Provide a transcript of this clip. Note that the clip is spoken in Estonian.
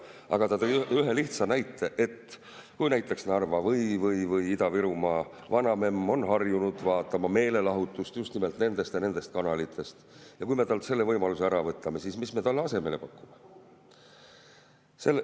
Aga ta tõi ühe lihtsa näite, et kui näiteks Narva või Ida-Virumaa vanamemm on harjunud vaatama meelelahutust just nimelt nendest ja nendest kanalitest ja me võtame talt selle võimaluse ära, siis mis me talle asemele pakume.